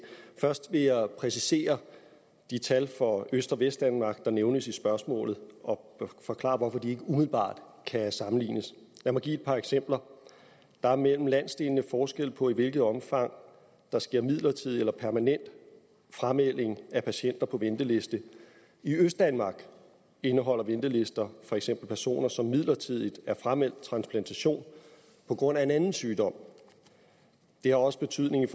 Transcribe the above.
først vil jeg præcisere de tal for øst og vestdanmark der nævnes i spørgsmålet og forklare hvorfor de ikke umiddelbart kan sammenlignes lad mig give et par eksempler der er mellem landsdelene forskel på i hvilket omfang der sker midlertidig eller permanent framelding af patienter på venteliste i østdanmark indeholder ventelister for eksempel personer som midlertidigt er frameldt transplantation på grund af en anden sygdom det har også betydning